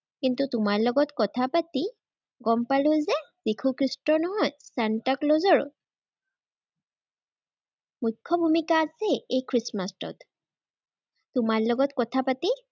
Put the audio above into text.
কিন্তু, তোমাৰ লগত কথা পাতি গম পালো যে যীশু খ্ৰীষ্টৰ নহয়, চান্তাক্লজৰো মুখ্য ভুমিকা আছে এই খ্ৰীষ্টমাচটোত। তোমাৰ লগত কথা পাতি